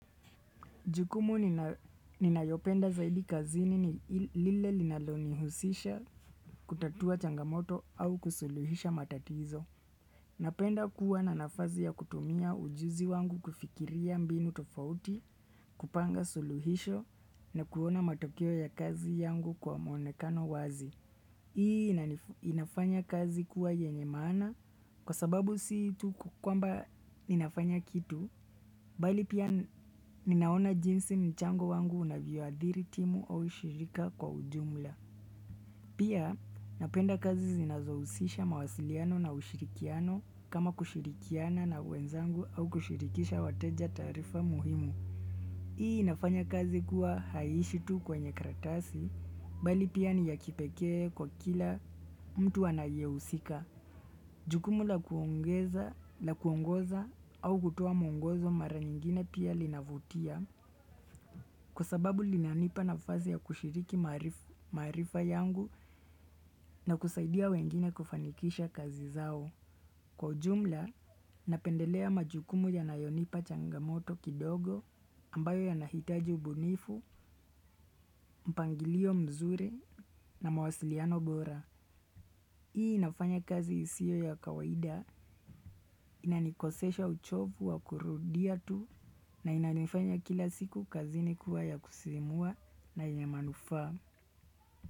Jukumu ninayopenda zaidi kazini ni lile linalonihusisha kutatua changamoto au kusuluhisha matatizo. Napenda kuwa na nafazi ya kutumia ujuzi wangu kufikiria mbinu tofauti, kupanga suluhisho na kuona matokeo ya kazi yangu kwa mwonekano wazi. Hii inafanya kazi kuwa yenye maana kwa sababu si tu kukwamba ninafanya kitu, bali pia ninaona jinsi mchango wangu unavyoadhiri timu au ushirika kwa ujumla. Pia napenda kazi zinazohusisha mawasiliano na ushirikiano kama kushirikiana na wenzangu au kushirikisha wateja taarifa muhimu. Hii inafanya kazi kuwa haiishi tu kwenye karatasi, bali pia ni ya kipekee kwa kila mtu anayehusika. Jukumu la kuongeza, la kuongoza, au kutoa mwongozo mara nyingine pia linavutia, kwa sababu linanipa nafazi ya kushiriki maarifa yangu na kusaidia wengine kufanikisha kazi zao. Kwa ujumla, napendelea majukumu yanayonipa changamoto kidogo ambayo yanahitaji ubunifu, mpangilio mzuri na mawasiliano bora. Hii inafanya kazi isiyo ya kawaida inanikosesha uchovu wa kurudia tu na inanifanya kila siku kazini kuwa ya kusimua na yenye manufaa.